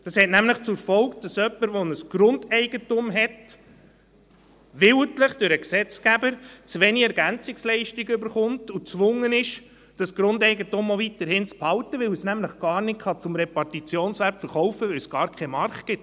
Dies hat nämlich zur Folge, dass jemand mit einem Grundeigentum, durch den Gesetzgeber willentlich zu wenig EL erhält und gezwungen ist, das Grundeigentum auch weiterhin zu behalten, weil er es nämlich gar nicht zum Repartitionswert verkaufen kann, weil es dafür gar keinen Markt gibt.